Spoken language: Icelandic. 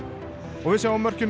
og við sjáum mörkin úr